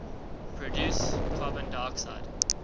produce carbon dioxide